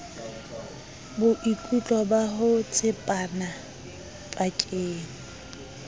boikutlo ba ho tshepana pakeng